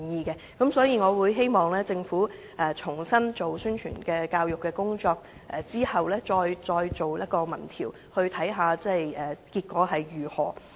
因此，我希望政府重新進行宣傳教育工作，然後才再進行民意調查，看看結果如何。